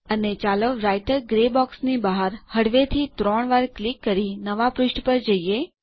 અને ચાલો writer grey બોક્સની બહાર હળવેથી ત્રણ વાર ક્લિક કરી નવાં પુષ્ઠ પર જઈએ